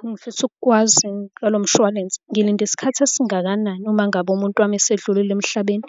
Engifisa ukwazi ngalo mshwalense, ngilinda isikhathi esingakanani uma ngabe umuntu wami esedlulile emhlabeni,